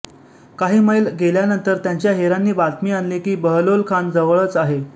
काही मैल गेल्यानंतर त्यांच्या हेरांनी बातमी आणली की बहलोलखान जवळच आहे